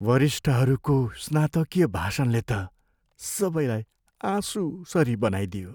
वरिष्ठहरूको स्नातकीय भाषणले त सबैलाई आँशुसरी बनाइदियो।